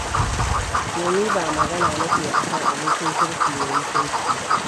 Ke ni ba magana nake a kan abokin kirki mai mutunci ba.